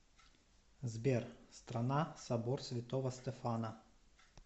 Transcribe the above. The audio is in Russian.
сбер страна собор святого стефана